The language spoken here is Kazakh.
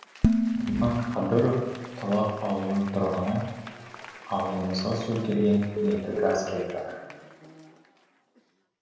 думан қадыров талап ауылының тұрғыны ауылымызға су келген енді газ келіп жатыр